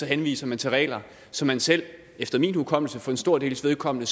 henviser man til regler som man selv efter min hukommelse for en stor dels vedkommende